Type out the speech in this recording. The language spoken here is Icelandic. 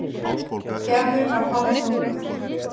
Gerður var hálfmóðguð.